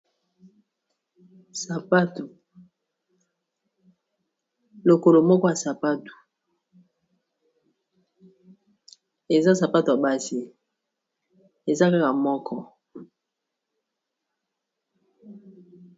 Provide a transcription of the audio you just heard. Sapatu lokolo moko ya sapato eza sapato ya basi eza kaka lokolo moko.